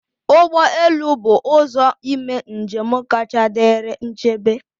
Ụgbọ elu bụ ụzọ ime njem kacha dịrị nchebe